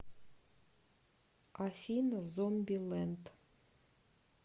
афина зомби ленд